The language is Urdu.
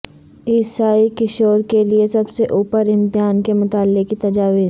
عیسائی کشور کے لئے سب سے اوپر امتحان کے مطالعہ کی تجاویز